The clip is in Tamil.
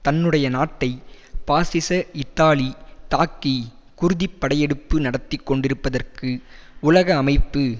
தன்னுடைய நாட்டை பாசிச இத்தாலி தாக்கி குருதிப் படையெடுப்பு நடத்தி கொண்டிருப்பதற்கு உலக அமைப்பு